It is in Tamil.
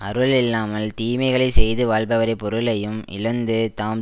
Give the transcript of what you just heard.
அருள் இல்லாமல் தீமைகளை செய்து வாழ்பவரைப் பொருளையும் இழந்து தாம்